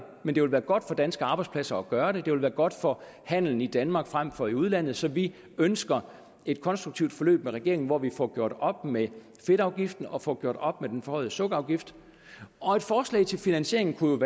men det vil være godt for danske arbejdspladser at gøre det det vil være godt for handelen i danmark frem for i udlandet så vi ønsker et konstruktivt forløb med regeringen hvor vi får gjort op med fedtafgiften og får gjort op med den forhøjede sukkerafgift og et forslag til finansiering kunne